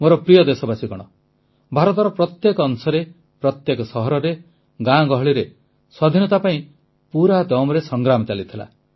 ମୋର ପ୍ରିୟ ଦେଶବାସୀଗଣ ଭାରତର ପ୍ରତ୍ୟେକ ଅଂଶରେ ପ୍ରତ୍ୟେକ ସହରରେ ଗାଁଗହଳିରେ ସ୍ୱାଧୀନତା ପାଇଁ ପୁରା ଦମ୍ରେ ସଂଗ୍ରାମ ଚାଲିଥିଲା